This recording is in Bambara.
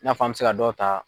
I n'a f'an mɛ se ka dɔw ta